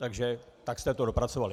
Takže tak jste to dopracovali.